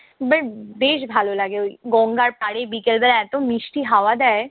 আবার বেশ ভালো লাগে ওই গঙ্গার পাড়ে বিকালবেলা এতো মিষ্টি হাওয়া দেয়।